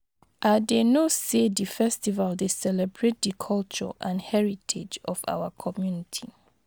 i dey know say di festival dey celebrate di culture and heritage of our community.